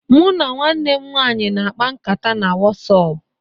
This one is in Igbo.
Mụ na nwanne m nwaanyị na-akpa nkata na Wọsapp